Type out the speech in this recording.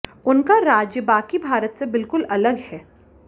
उनका राज्य बाकी भारत से बिलकुल अलग है